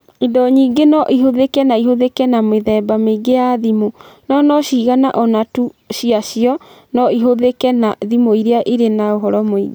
Indo nyingĩ no ihũthĩke na ihũthĩke na mĩthemba mĩingĩ ya thimũ, no no cigana ũna tu ciacio no ihũthĩke na thimũ iria irĩ na ũhoro mũingĩ.